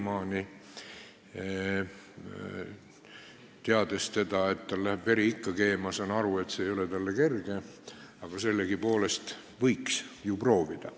Tean teda, seda, et tal läheb veri ikka keema, ja saan aru, et see ei ole talle kerge, aga võiks ju sellegipoolest proovida.